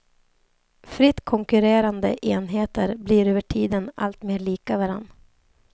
Fritt konkurrerande enheter blir över tiden alltmer lika varandra.